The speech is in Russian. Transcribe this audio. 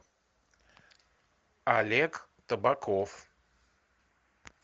олег табаков